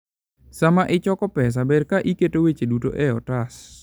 Sama ichoko pesa, ber ka iketo weche duto e otas.